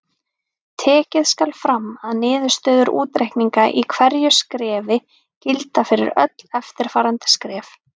Tekið skal fram að niðurstöður útreikninga í hverju skrefi gilda fyrir öll eftirfarandi skref.